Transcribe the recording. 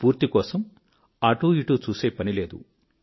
స్ఫూర్తి కొఱకై అటూ ఇటూ చూసే పని లేదు